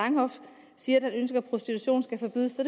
langhoff siger at han ønsker at prostitutionen skal forbydes